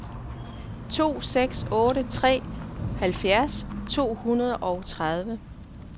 to seks otte tre halvfjerds to hundrede og tredive